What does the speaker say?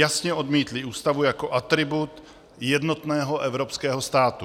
Jasně odmítly ústavu jako atribut jednotného evropského státu.